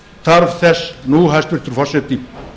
þarf þess nú hæstvirtur forseti